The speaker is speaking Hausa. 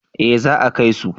Eh za a kai su